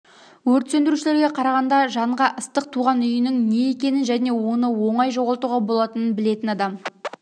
өрт сөндірушілерге қарағанда жанға ыстық туған үйінің не екенің және оны оңай жоғалтуға болатының білетін адам